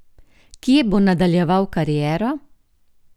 Kje bo nadaljeval kariero?